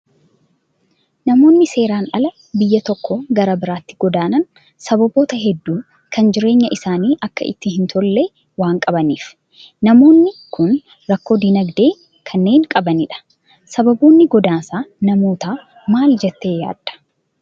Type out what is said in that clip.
Namoonni seeraan ala biyya tokkoo gara biraatti godaanan sababoota hedduu kan jireenya isaanii Akka itti hin tolle waan qabaniifi. Namoonni Kun rakkoo dinagdee kanneen qabanidha. Sababoonni godaansa namootaa maal jettee yaaddaa?